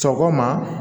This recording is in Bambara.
Sɔgɔma